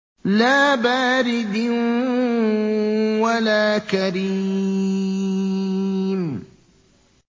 لَّا بَارِدٍ وَلَا كَرِيمٍ